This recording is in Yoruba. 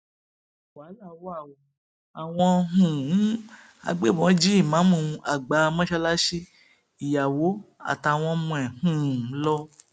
wàhálà wa ó àwọn um agbébọn jí ìmáàmù àgbà mọṣáláṣí ìyàwó àtàwọn ọmọ rẹ um lọ